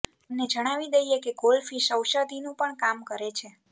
તમને જણાવી દઈએ કે ઘોલ ફિશ ઐષધીનું પણ કામ કરે છે